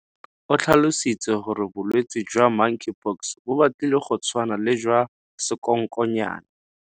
O tlhalositse gore Bolwetse jwa Monkeypox bo batlile go tshwana le jwa sekonkonyane.